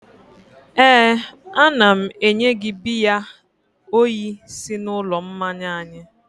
éè, a na m enye gị biya oyi si n'ụlọ mmanya anyị